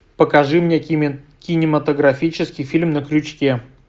покажи мне кинематографический фильм на крючке